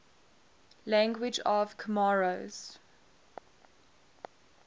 languages of comoros